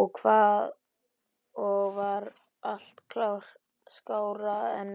Og það var allt skárra en